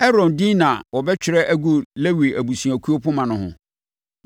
Aaron din na wɔbɛtwerɛ agu Lewi abusuakuo poma no ho.